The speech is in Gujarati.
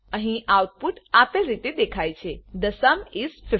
અહી આઉટપુટ આપેલ રીતે દેખાય છે થે સુમ ઇસ 15